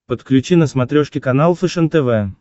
подключи на смотрешке канал фэшен тв